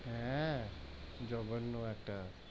হেঁ, যোগঘন্ন একটা,